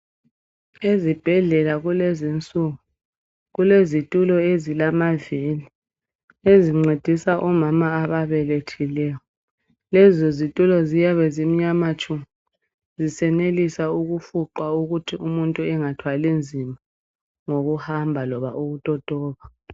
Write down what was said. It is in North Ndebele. Ezibhedlela kulezinsuku kulezitulo esilamavili ezincedisa omama ababelethileyo. Lezo zitulo ziyabe zimnyama tshu zisenelisa ukufuqwa ukuthi umuntu engathwali nzima ngokuhamba loba ukutotoba.